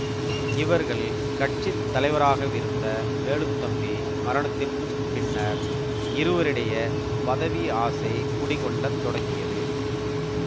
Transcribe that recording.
இவர்கள் கட்சி தலைவராகவிருந்த வேலுத்தம்பி மரணத்திற்கு பின்னர் இருவரிடையே பதவி ஆசை குடிகொள்ளத்தொடங்கியது